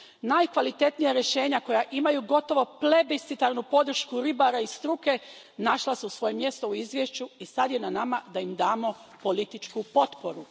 Najkvalitetnija rješenja koja imaju gotovo plebiscitarnu podršku ribara i struke našla su svoje mjesto u izvješću i sad je na nama da im damo političku potporu.